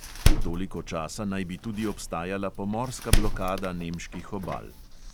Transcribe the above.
Toliko časa naj bi tudi obstajala pomorska blokada nemških obal.